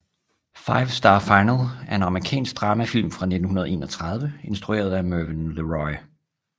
Five Star Final er en amerikansk dramafilm fra 1931 instrueret af Mervyn LeRoy